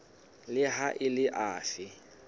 le ha e le afe